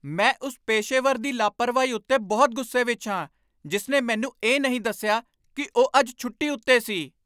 ਮੈਂ ਉਸ ਪੇਸ਼ੇਵਰ ਦੀ ਲਾਪਰਵਾਹੀ ਉੱਤੇ ਬਹੁਤ ਗੁੱਸੇ ਵਿੱਚ ਹਾਂ ਜਿਸ ਨੇ ਮੈਨੂੰ ਇਹ ਨਹੀਂ ਦੱਸਿਆ ਕਿ ਉਹ ਅੱਜ ਛੁੱਟੀ ਉੱਤੇ ਸੀ।